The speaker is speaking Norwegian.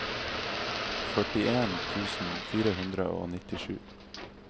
førtien tusen fire hundre og nittisju